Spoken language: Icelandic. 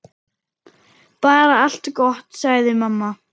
Bara allt gott, sagði mamma.